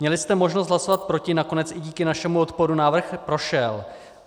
Měli jste možnost hlasovat proti, nakonec i díky našemu odporu návrh prošel.